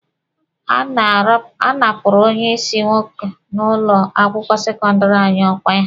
A napụrụ onye ịsị nwoke n'ụlọ akwụkwọ sekọndịrị anyị ọkwa ya.